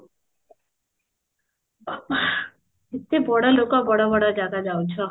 କେତେ ବଡ ଲୋକ ବଡ ବଡ ଜାଗା ଯାଉଛ